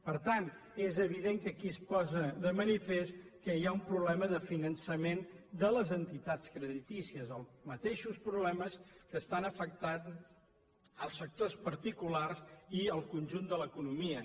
per tant és evident que aquí es posa de manifest que hi ha un problema de finançament de les entitats creditícies els mateixos problemes que afecten els sectors particulars i el conjunt de l’economia